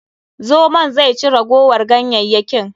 Zomon zai ci ragowar ganyayyakin.